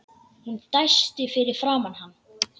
Hún dæsti fyrir framan hann.